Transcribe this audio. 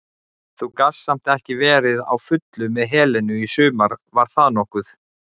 Þú gast samt ekki verið á fullu með Helenu í sumar var það nokkuð?